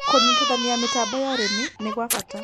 Kũnyĩtĩthanĩa mĩtambo ya ũrĩmĩ nĩgwa bata